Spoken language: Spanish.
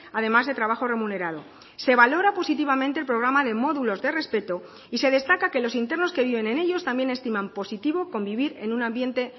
además de trabajo remunerado se valora positivamente el programa de módulos de respeto y se destaca que los internos que viven en ellos también estiman positivo convivir en un ambiente